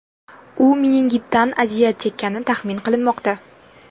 U meningitdan aziyat chekkani taxmin qilinmoqda.